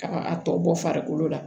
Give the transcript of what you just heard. Ka a tɔ bɔ farikolo la